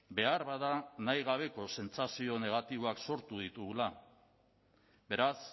beharbada nahi gabeko sentsazio negatiboak sortu ditugula beraz